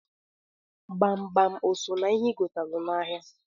Gbamgbam o so n'ihe i gotalụ n'ahịa?